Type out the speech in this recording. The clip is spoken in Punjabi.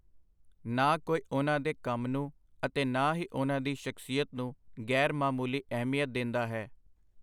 ਨਾ ਕੋਈ ਉਹਨਾਂ ਦੇ ਕੰਮ ਨੂੰ ਅਤੇ ਨਾ ਹੀ ਉਹਨਾਂ ਦੀ ਸ਼ਖਸੀਅਤ ਨੂੰ ਗੈਰ-ਮਾਮੂਲੀ ਅਹਿਮੀਅਤ ਦੇਂਦਾ ਹੈ.